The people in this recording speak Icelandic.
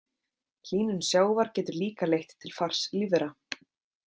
Hlýnun sjávar getur líka leitt til fars lífvera.